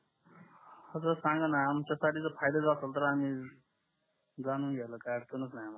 हो तर सांगा न यांच्या साठी जर फहायद्या असाल तर आम्ही जाणून घ्यायला काही अडचनस नाही आम्हाला